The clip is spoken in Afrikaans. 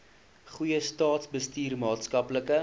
goeie staatsbestuur maatskaplike